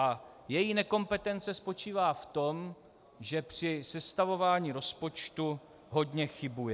A její nekompetence spočívá v tom, že při sestavování rozpočtu hodně chybuje.